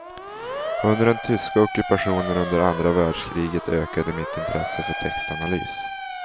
Under den tyska ockupationen under andra världskriget ökade mitt intresse för textanalys.